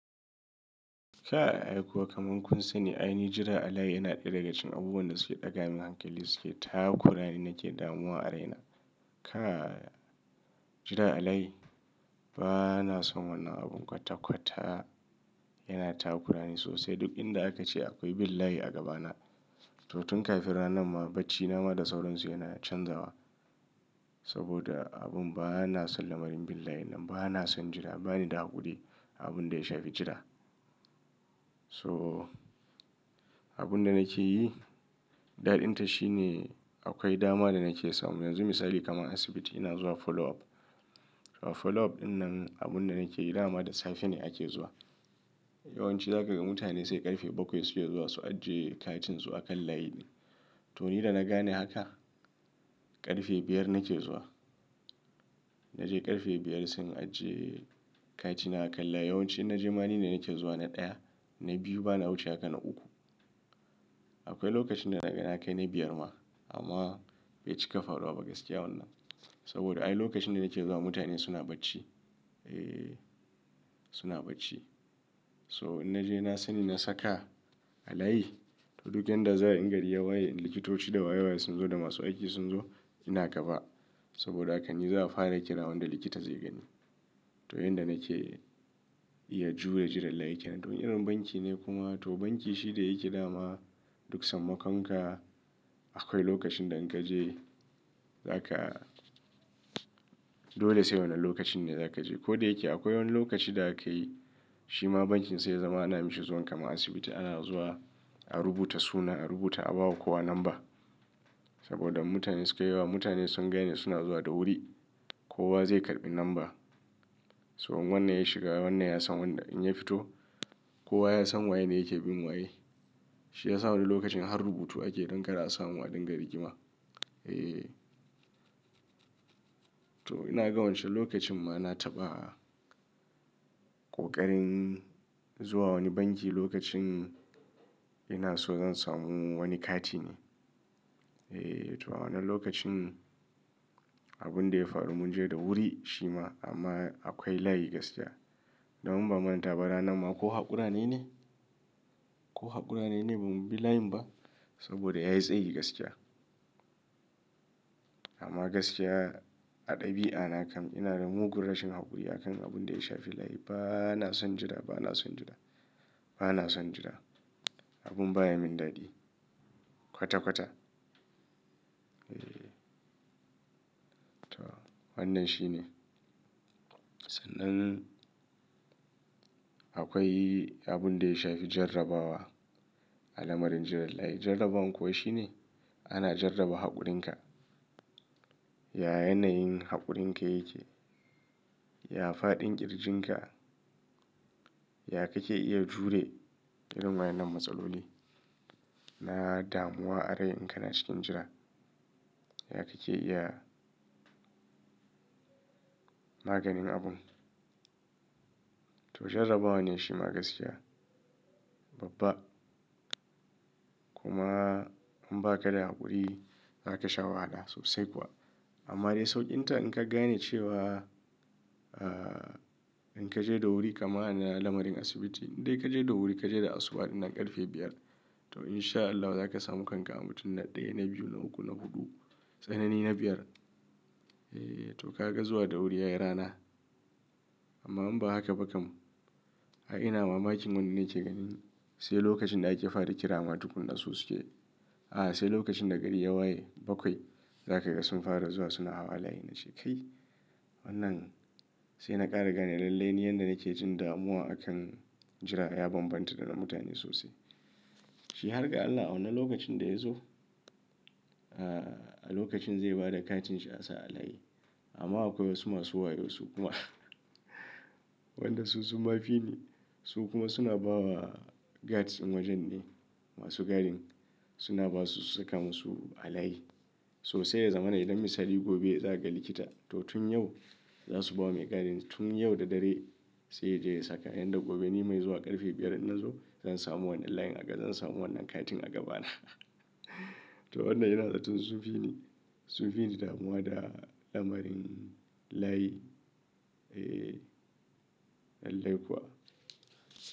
Kai ai kuwa kaman kun sani aini jira alayi yana ɗaya daga cikin abubuwan da suke ɗaga min hankali suke takurani nake damuwa a raina. Kai jira alayi ba na son wannan abun kwata-kwata yana ta hakurani sosai duk inda aka ce akoi bin layi a gabana. To tun kafin ranan ma baccina ma da sauransu yana canzawa saboda abun ba na son lamarin bin layi nan ba na son jira bani da haƙuri abun da ya shafi jira. So abun da nake yi, daɗita shine akoi dama da nake samu yanzu misali kamar asibiti ina zuwa follow up. A follow up ɗinnan abun da nake yi dama da safe ne ake zuwa. Yawanci za ka ga mutane sai ƙarfe bakwai suke zuwa su ajiye katin su a kan layi. To ni da na gane haka ƙarfe biyar nake zuwa. Na je ƙarfe biyar sai in ajiye katina a kan layi. Yawanci in na je ma ni ne nake zuwa na ɗaya, na biyu ba na wuce haka na uku. Akoi lokacin da na ga na kai na biyar ma amma bai cika faruwa ba gaskiya wannan saboda ai lokacin da nake zuwa mutane suna bacci. Eh suna bacci. So in naje na sani na saka ba layi to duk yanda za a yi in gari yawaye likitoci da waye-waye sun zo da masu aiki sun zo ina gaba saboda haka ni za a fara kira wanda likita zai gani. To yanda nake iya jure jiran layi kenan. To irin banki ne kuma to banki shi da yake dama duk sammaƙon ka akoi lokacin da in ka je za ka dole sai wannan lokacin ne za ka je. Ko da yake akoi woni lokaci da aka yi shi ma bankin sai ya zama ana mishi zuwan kaman asibiti ana zuwa a rubuta suna a rubuta a bawa kowa namba saboda mutane suke yewa mutane sun gane suna zuwa da wuri kowa zai karɓi namba. So in wannan ya shiga wannan ya san wanda in ya fito kowa ya san waye ne yake bin waye. Shi ya sa woni lokacin har rubutu ake don kar a samun a dinga rigima. Eh to ina ga wancan lokacin ma na taɓa ƙoƙarin zuwa wani banki lokacin ina so zan samu wani kati ne. Eh to a wannan lokacin abun da ya faru mun je da wuri shi ma amma akoi layi gaskiya. To in ban manta ba ranan ma ko haƙura nayine ko haƙura nayine bamu bi layin ba saboda yayi tsayi gaskiya. Amma gaskiya a ɗabi'a na kam ina da mugun rashin haƙuri a kan abun da ya shafi layi ba na son jira ba na son jira ba na son jira abun baya min daɗi kwata-kwata. Eh to wannan shine. Sannan akoi abun da ya shafi jarrabawa a lamarin jiran layi. Jarrabawan kuwa shine ana jarraba haƙurinka, ya yanayin haƙurinka yake, ya faɗin ƙirjin ka, ya ka ke iya jure irin wayen nan matsaloli na damuwa a rai in ka na cikin jira, ya ka ke iya maganin abun. To jarrabawa ne shi ma gaskiya babba kuma in ba ka da haƙuri za ka sha wahala sosai kuwa. Amma dai sauƙinta in ka gane cewa ah in ka je da wuri kama ana lamarin asibiti in dai ka je da wuri ka je da asuba ɗinnan ƙarfe biyar to in sha Allahu za ka samu kanka a mutum na ɗaya, na biyu, na uku, na huɗu tsanani na biyar. Eh to ka ga zuwa da wuri yayi rana. Amma in ba haka ba kam ai ina mamakin wannan nake ganin sai lokacin da ake fara kira ma tukun za su suke. A sai lokacin da gari ya waye bakwai za ka ga sun fara zuwa suna hawa layi na ce cikai. Wannan sai na ƙara gane lallai ni yanda nake jin damuwa akan jira ya bambanta da na mutane sosai. Shi har ga Allah a wannan lokacin da ya zo ah a lokacin zai bada katin shi a sa a layi amma akwai wasu masu wayo su kuma wanda su sun ma fi ni su kuma suna ba wa guards ɗin wojen ne masu gadin suna ba su su saka musu a layi. So sai ya zamana idan misali gobe za ka ga likita to tun yau za su ba wa mai gadin tun yau da dare sai ya je ya saka yanda gobe ni mai zuwa ƙarfe biyar nan zo zan samu wannan layin a ga zan samu wannan katin a gabana. To wannan ina ga tun sun fi ni sun fi ni damuwa da lamarin layi. Eh lallai kuwa.